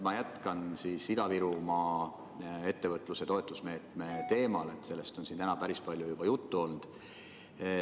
Ma jätkan Ida-Virumaa ettevõtluse toetamise meetme teemal – sellest on siin täna päris palju juttu olnud.